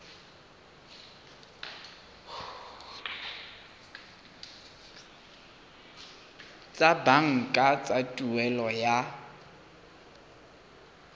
tsa banka tsa tuelo ya